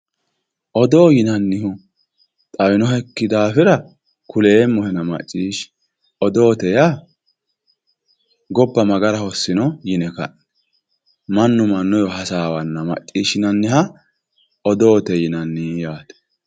Odoo yinannihu xawinohekki daafira kuleemmohenna macciishshi ,odoote yaa gobba mayi gara hosinno yine ka'ne mannu mannuwa hasaawanna macciishshinanniha odoote yinanni yaate.